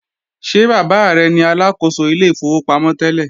Ṣé bàbá rẹ ni Aláàkóso ilé ìfowópamọ́ tẹ́lẹ̀?